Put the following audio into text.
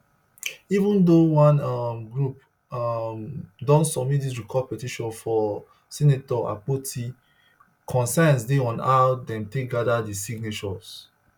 even though one um group um don submit dis recall petition for senator akpoti concerns dey on how dem take gada di signatures